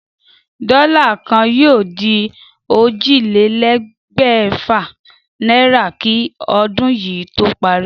Dó̩là kan yóò di ójìlélé̩gbè̩fà náírà kí o̩dún yìí tó parí